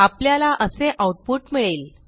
आपल्याला असे आऊटपुट मिळेल